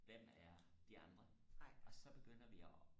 hvem er de andre og så begynder vi og